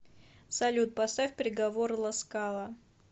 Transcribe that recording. салют поставь приговор ласкала